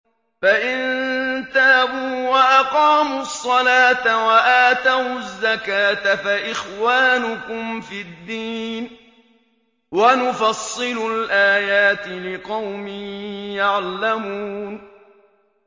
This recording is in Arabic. فَإِن تَابُوا وَأَقَامُوا الصَّلَاةَ وَآتَوُا الزَّكَاةَ فَإِخْوَانُكُمْ فِي الدِّينِ ۗ وَنُفَصِّلُ الْآيَاتِ لِقَوْمٍ يَعْلَمُونَ